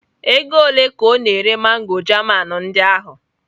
Ego ole ka ọ na-ere mango German ndị ahụ?